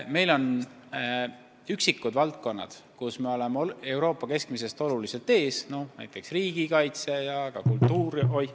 Meil on üksikud valdkonnad, kus me oleme Euroopa keskmisest kõvasti ees, näiteks riigikaitse ja ka kultuur.